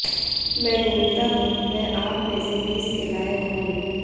मैं घूमता हूँ मैं आप में से बीस के लायक हूँ